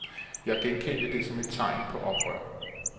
Jeg genkendte det som et tegn på oprør.